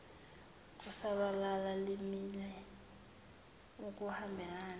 lokusabalala limele ukuhambelana